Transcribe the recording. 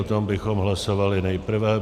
O tom bychom hlasovali nejprve.